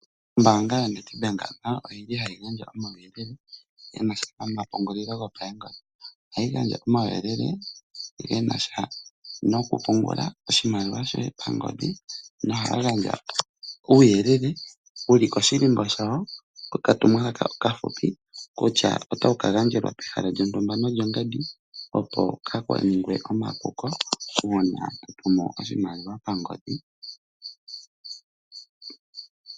Ombaanga yoNedbank oyi li hayi gandja omauyelele ge na sha nomapungulilo gopaengodhi. Ohayi gandja omauyelele ge na sha nokupungula oshimaliwa shoye nohaya gandja uuyelele wu li koshihako shawo kokatumwalaka okafupi kutya otawu ka gandjelwa pehala lyontumba nolyongandi opo kaa ku ningwe omapuko uuna to tumu oshimaliwa pangodhi.